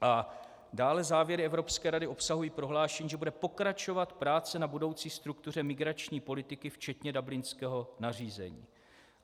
A dále závěry Evropské rady obsahují prohlášení, že bude pokračovat práce na budoucí struktuře migrační politiky, včetně dublinského nařízení.